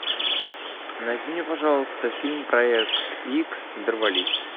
найди мне пожалуйста фильм проект икс дорвались